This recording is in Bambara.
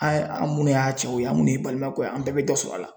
An an minnu y'a cɛw ye an minnu ye balimakɛw ye an bɛɛ bɛ dɔ sɔrɔ a la.